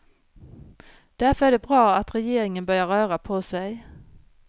Därför är det bra att regeringen börjar röra på sig.